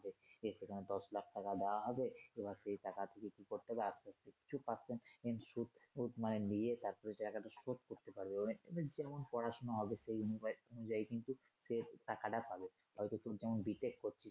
এ সেখানে দশ লাখ টাকা দেয়া হবে এবার সেই টাকা দিয়ে কি করতে হবে কিছু percent সুদ মানে নিয়ে তারপরে ওই টাকা টা শোধ করতে পারবে ওভাবে যেমন পড়াশুনা সেই অনুযাইয়ী কিন্তু সে টাকাটা পাবে হয়তো তুমি কোন বিশেষ